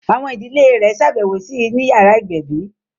Àwọn ìdílé rẹ̀ ṣàbẹ̀wò sí I ni yàrá ìgbẹ̀bí